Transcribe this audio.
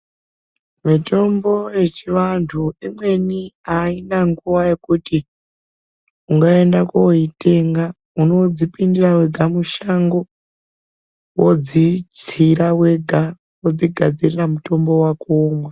Mitombo yechivantu imweni aina nguwa yekuti ungaenda koitenga. Unodzipindira wega mushango. Wodzitsira wega, wodzigadzirira mutombo wako womwa.